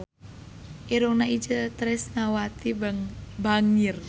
Irungna Itje Tresnawati bangir